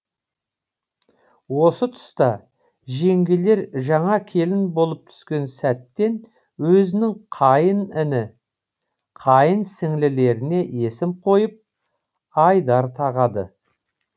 осы тұста жеңгелер жаңа келін болып түскен сәттен өзінің қайын іні қайын сіңлілеріне есім қойып айдар тағады